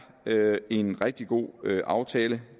en rigtig god aftale